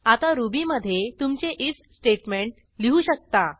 आता रुबीमधे तुमचे आयएफ स्टेटमेंट लिहू शकता